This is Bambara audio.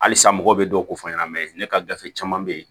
Halisa mɔgɔw bɛ dɔw ko fɔ an ɲɛna mɛ ne ka gafe caman bɛ yen